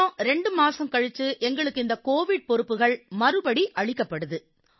பிறகு 2 மாதங்கள் கழிச்சு எங்களுக்கு இந்த கோவிட் பொறுப்புகள் மறுபடி அளிக்கப்படுது சார்